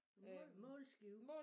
Mål målskive